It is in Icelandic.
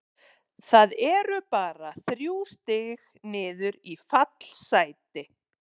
Það eru bara þrjú stig niður í fallsæti.